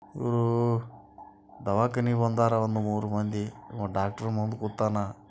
ಹೂ ದವಾಖಾನೆ ಮುಂದ ಒಂದು ಮೂರು ಮಂದಿ ಡಾಕ್ಟ್ರು ಮುಂದ್ ಕುಂತಾನ.